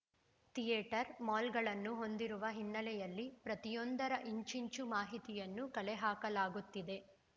theatre ಮಾಲ್‌ಗಳನ್ನು ಹೊಂದಿರುವ ಹಿನ್ನೆಲೆಯಲ್ಲಿ ಪ್ರತಿಯೊಂದರ ಇಂಚಿಂಚೂ ಮಾಹಿತಿಯನ್ನು ಕಲೆಹಾಕಲಾಗುತ್ತಿದೆ